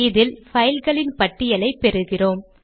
இதில் பைல் களின் பட்டியலைப் பெறுகிறோம்